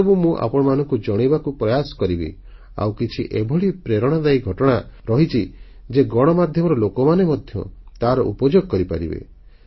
ସେସବୁ ମୁଁ ଆପଣମାନଙ୍କୁ ଜଣାଇବାକୁ ପ୍ରୟାସ କରିବି ଆଉ କିଛି ଏଭଳି ପ୍ରେରଣାଦାୟୀ ଘଟଣା ରହିଛି ଯେ ଗଣମାଧ୍ୟମର ଲୋକମାନେ ମଧ୍ୟ ତାର ଉପଯୋଗ କରିପାରିବେ